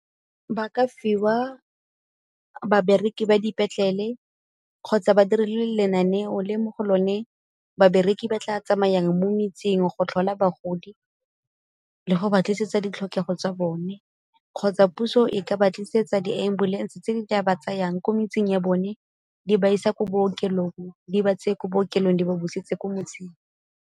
Ba ka fiwa babereki ba dipetlele kgotsa ba dire le lenaneo le mo go lone babereki ba tla tsamayang mo metseng go tlhola bagodi, le go ba tlisetsa ditlhokego tsa bone. Kgotsa puso e ka ba tlisetsa di-ambulance tse di ke ba tsayang ko metseng ya bone di ba isa ko bookelong, di ba tseye ko bookelong di ba busetse ko motseng.